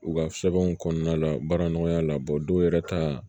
U ka sɛbɛnw kɔnɔna la baara nɔgɔya la dɔw yɛrɛ ta